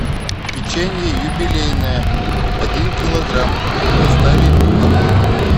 печенье юбилейное один килограмм доставить домой